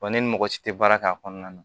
ne ni mɔgɔ si tɛ baara k'a kɔnɔna na